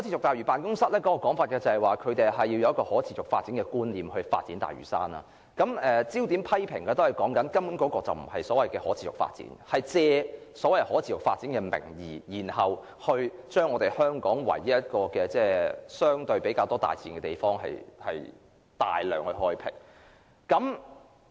大嶼辦須基於可持續發展的觀念發展大嶼山，而批評的焦點是，大嶼山的發展根本並非可持續發展，而是借可持續發展的名義，把香港唯一有較多大自然環境的地方大規模開闢。